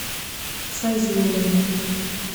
файзулину